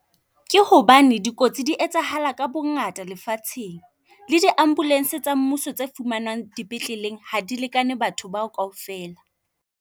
Ke hobane dikotsi di etsahala ka bongata lefatsheng le di ambulance tsa mmuso tse fumanang dipetleleng, ha di lekane batho bao kaofela.